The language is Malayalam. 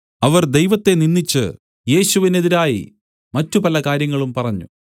അവർ ദൈവത്തെ നിന്ദിച്ച് യേശുവിനെതിരായി മറ്റു പലകാര്യങ്ങളും പറഞ്ഞു